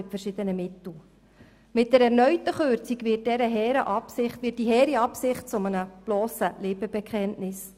Mit einer erneuten Kürzung wird diese hehre Absicht zu einem blossen Lippenbekenntnis.